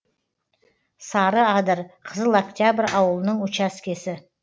сарыадыр қызыл октябрь ауылының учаскесі